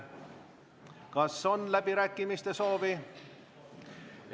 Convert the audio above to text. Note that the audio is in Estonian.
Kas on läbirääkimiste soovi?